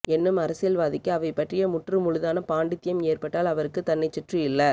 என்னும் அரசியல்வாதிக்கு அவை பற்றிய முற்றுமுழுதான பாண்டித்யம் ஏற்பட்டால் அவருக்குத் தன்னைச்சுற்றியுள்ள